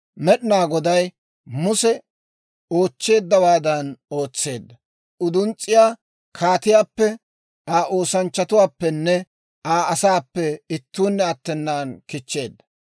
Med'inaa Goday Muse oochcheeddawaadan ootseedda; uduns's'iyaa kaatiyaappe, Aa oosanchchatuwaappenne Aa asaappe ittuunne attenan kichcheedda.